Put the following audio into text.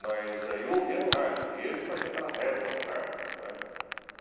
Mas aí eu ouvia no rádio, e ele fazia aquela reza no rádio, né?